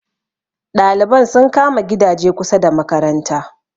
ɗaliban sun kama gidaje kusa da makaranta